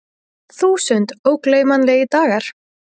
Þúsund ógleymanlegir dagar.